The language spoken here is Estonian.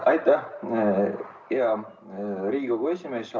Aitäh, hea Riigikogu esimees!